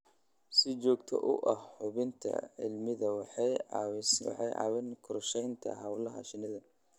Si joogto ah u hubinta cimilada waxay caawisaa qorshaynta hawlaha shinnida.